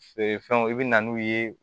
Feere fɛnw i bɛ na n'u ye